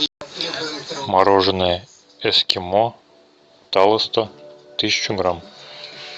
мороженое эскимо талосто тысячу грамм